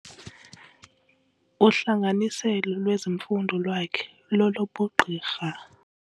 Uhlanganiselo lwezimfundo lwakhe lolobugqirha.